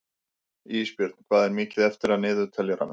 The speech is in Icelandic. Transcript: Ísbjörn, hvað er mikið eftir af niðurteljaranum?